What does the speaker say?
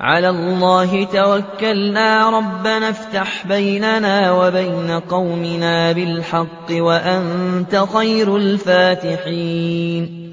عَلَى اللَّهِ تَوَكَّلْنَا ۚ رَبَّنَا افْتَحْ بَيْنَنَا وَبَيْنَ قَوْمِنَا بِالْحَقِّ وَأَنتَ خَيْرُ الْفَاتِحِينَ